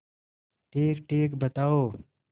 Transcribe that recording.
ठीकठीक बताओ